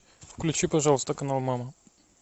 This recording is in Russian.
включи пожалуйста канал мама